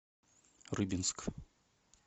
рыбинск